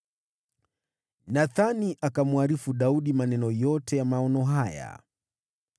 Nathani akamwarifu Daudi maneno yote ya maono haya.